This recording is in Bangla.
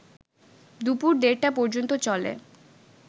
দুপুর দেড়টা পর্যন্ত চলে